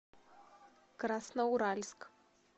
красноуральск